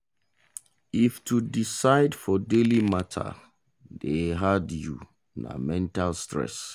if to decide for daily matter dey hard you na mental stress.